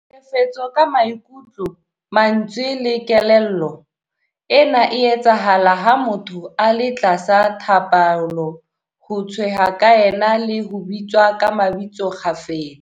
Tlhekefetso ka maikutlo, mantswe le kelello- Ena e etsahala ha motho a le tlasa tlhapaolo, ho tshehwa ka ena le ho bitswa ka mabitso kgafetsa.